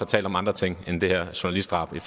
talt om andre ting end det her journalistdrab i